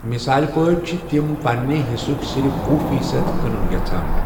مثال پٲٹھۍ چھِ تِم پنِٛنہِ حصُک صرف وہ فیٖصد کٕنُن یژھان۔